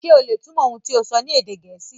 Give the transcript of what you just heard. Ṣe o le túmọ̀ ohun ti o sọ ni èdè Gẹẹsi?